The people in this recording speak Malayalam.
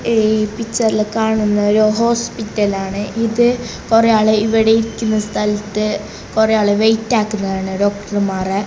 ഈ പിക്ചറിൽ കാണുന്നൊരു ഹോസ്പിറ്റലാണ് ഇത് കൊറേ ആള് ഇവിടെ ഇരിക്കുന്ന സ്ഥലത്തെ കൊറേ ആള് വെയിറ്റ് ആക്കുന്നതാണ് ഡോക്ടർമാറേ .